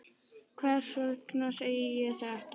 Hvers vegna segi ég þetta?